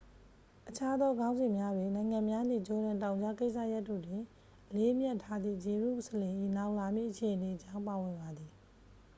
အခြားသော ခေါင်းစဉ်များတွင် နိုင်ငံများနှင့် ဂျော်ဒန်တောင်ကြားကိစ္စရပ်တို့တွင် အလေးအမြတ်ထားသည့် ဂျေရုဆလင်၏ နောင်လာမည့်အခြေအနေအကြောင်း ပါဝင်ပါသည်